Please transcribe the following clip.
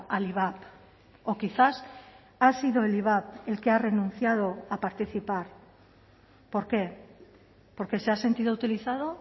al ivap o quizás ha sido el ivap el que ha renunciado a participar por qué porque se ha sentido utilizado